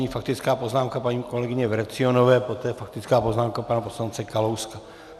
Nyní faktická poznámka paní kolegyně Vrecionové, poté faktická poznámka pana poslance Kalouska.